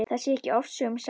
Það sé ekki ofsögum sagt.